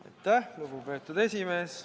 Aitäh, lugupeetud esimees!